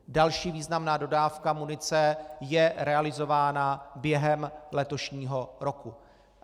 Další významná dodávka munice je realizována během letošního roku.